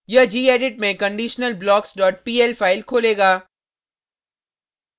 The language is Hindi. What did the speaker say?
यह gedit में conditionalblockspl फाइल खोलेगा